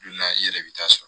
Don na i yɛrɛ bi taa sɔrɔ